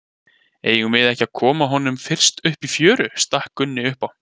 Eigum við ekki að koma honum fyrst upp í fjöru, stakk Gunni upp á.